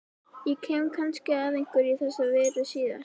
Ég kem kannski að einhverju í þessa veru síðar.